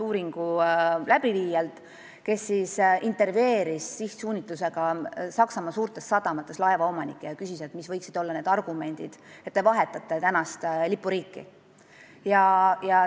Uuringu läbiviija tegi sihtsuunitlusega intervjuusid Saksamaa suurtes sadamates, küsides laevaomanikelt, mis võiksid olla need argumendid, et nad vahetaksid praegust lipuriiki.